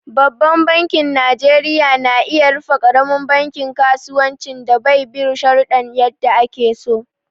Babban banki najeriya na iya rufe ƙaramin bankin kasuwancin da bai bin shuruɗa yadda ake so.